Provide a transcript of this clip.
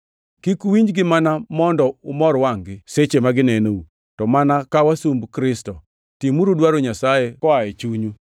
Kik uwinjgi mana mondo umor wangʼ-gi seche ma ginenou, to mana ka wasumb Kristo, timuru dwaro Nyasaye koa e chunyu.